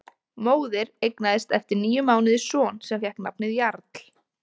Móðir eignaðist eftir níu mánuði son sem fékk nafnið Jarl.